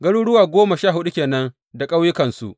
Garuruwa goma sha huɗu ke nan da ƙauyukansu.